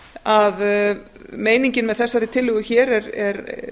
að meiningin með þessari tillögu hér er